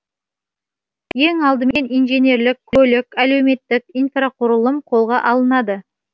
ең алдымен инженерлік көлік әлеуметтік инфрақұрылым қолға алынады